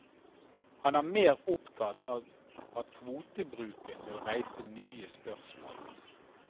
Han er mer opptatt av at kvotebruken vil reise nye spørsmål.